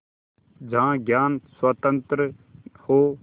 जहाँ ज्ञान स्वतन्त्र हो